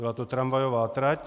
Byla to tramvajová trať.